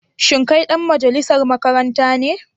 Shin kai dan majalisar makaranta ne?